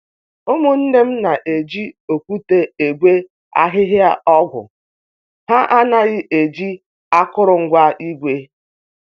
Ụmụnne m na-eji okwute egwe ahịhịa ọgwụ, ha anaghị eji akụrụngwa igwe